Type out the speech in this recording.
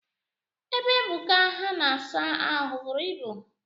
Ebe Ebuka ha na-asa ahụ buru ibu